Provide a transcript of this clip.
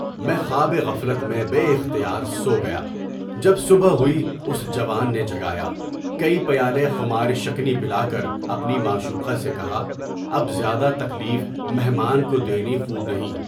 میں خواب غفلت میں بے اختیار سو گیا۔ جب صبح ہوئی، اُس جوان نے جگایا، کئی پیالے میں خمار شکنی پلا کر اپنی معشوقہ سے کہا، اب زیادہ تکلیف مہمان کو دینا خوب نہیں۔